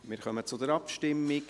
Wir kommen zur Abstimmung.